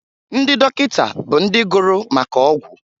Ndị dọkịta bụ ndị gụrụ maka ọgwụ